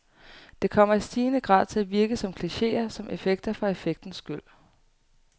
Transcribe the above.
Det kommer i stigende grad til at virke som klicheer, som effekter for effektens skyld.